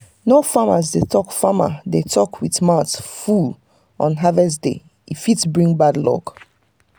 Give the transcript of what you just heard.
no farmer dey talk farmer dey talk with mouth full on harvest days e fit bring bad luck.